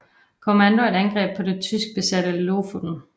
Commando et angreb på det tyskbesatte Lofoten